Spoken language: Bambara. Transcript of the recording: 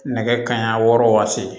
Nɛgɛ kanɲɛ wɔɔrɔ waati